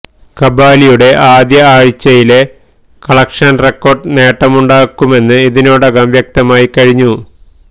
കബാലിയുടെ ആദ്യ ആഴ്ചയിലെ collection record നേട്ടമുണ്ടാക്കുമെന്ന് ഇതിനോടകം വ്യക്തമായി കഴിഞ്ഞു